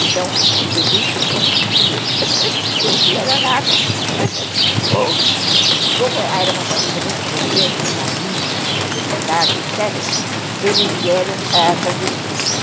Então, o que se deduz é que, primeiro, ou eles vieram a nado, ou, como era uma família muito importante, tinha bispos, tinha deputados, etc., eles vieram, ãh, clandestinos.